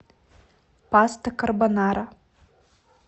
паста карбонара